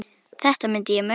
Þetta myndi ég muna!